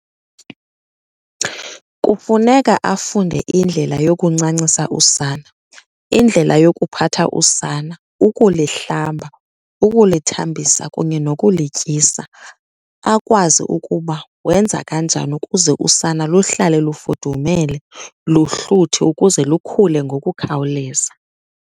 Kufuneka afunde indlela yokuncancisa usana, indlela yokuphatha usana, ukulihlamba, ukulithambisa kunye nokulityisa. Akwazi ukuba wenza kanjani ukuze usana luhlale lufudumele, luhluthi, ukuze lukhule ngokukhawuleza.